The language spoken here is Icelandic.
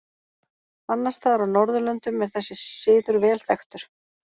Annars staðar á Norðurlöndum er þessi siður vel þekktur.